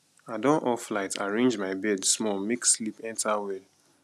i don off light arrange my bed small make sleep enter well